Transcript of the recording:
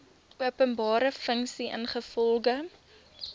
openbare funksie ingevolge